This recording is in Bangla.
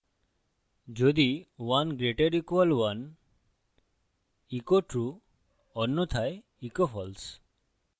যদি 1> = 1 echo true অন্যথায় echo false